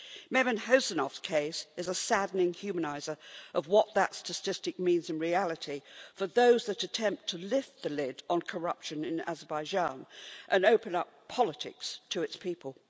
Mehman Huseynov's case is a saddening humaniser of what that statistic means in reality for those that attempt to lift the lid on corruption in Azerbaijan and open up politics to its people.